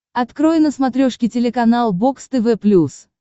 открой на смотрешке телеканал бокс тв плюс